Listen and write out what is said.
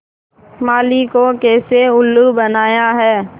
माली को कैसे उल्लू बनाया है